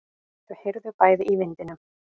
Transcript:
Þau heyrðu bæði í vindinum.